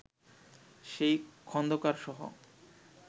সেই খন্দকারসহ